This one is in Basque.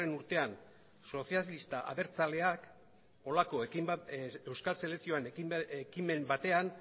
urtean sozialista abertzaleak holako ekin bat euskal selekzioan ekimen batean